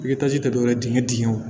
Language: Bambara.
tɛ dɔwɛrɛ ye dingɛ dingɛw